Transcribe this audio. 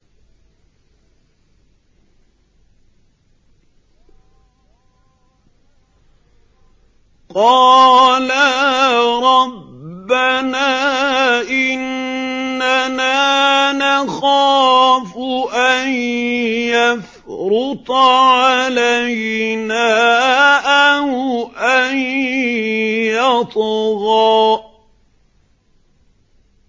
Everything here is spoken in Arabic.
قَالَا رَبَّنَا إِنَّنَا نَخَافُ أَن يَفْرُطَ عَلَيْنَا أَوْ أَن يَطْغَىٰ